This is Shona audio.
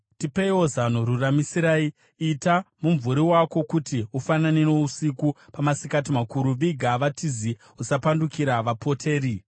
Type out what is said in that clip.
“Tipeiwo zano, ruramisirai. Ita mumvuri wako kuti ufanane nousiku, pamasikati makuru. Viga vatizi, usapandukira vapoteri.